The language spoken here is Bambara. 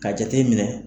Ka jate minɛ